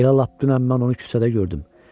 Elə lap dünən mən onu küçədə gördüm.